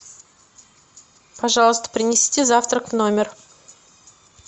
пожалуйста принесите завтрак в номер